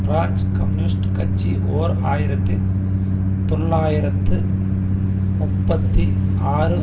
France communist கட்சி ஓர் ஆயிரத்தி தொள்ளாயிரத்து முப்பத்தி ஆறு